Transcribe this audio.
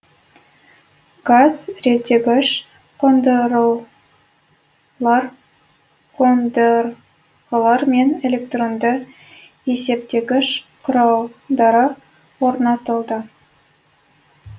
газ реттегіш қондырғылар мен электронды есептегіш құралдары орнатылды